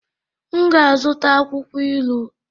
M ga-azụta akwụkwọ ilu